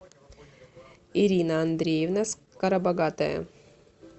ирина андреевна скоробогатая